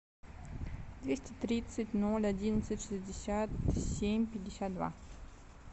двести тридцать ноль одиннадцать шестьдесят семь пятьдесят два